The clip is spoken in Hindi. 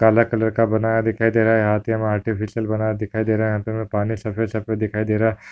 काला कलर का बनाया दिखाई दे रहा है यहा पे हमे आर्टिफ़िश्यल बना दिखाई दे रहा है यहा पे हमे पानी सफ़ेद सफ़ेद दिखाई दे रहा है।